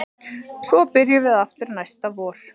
Svo byrjum við aftur næsta vor